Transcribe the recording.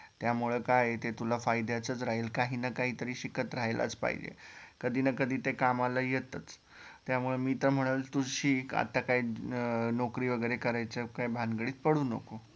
त्यामुळे काय ये ते तुला फायद्याचचं राहील काही न काहीतरी शिकत राहिलाच पाहिजे कधी न कधी ते कामाला येतच त्यामुळे मी तर म्हणल तू शिक आता काय नोकरी वगैरे करायचं काय भानगडीत पडू नको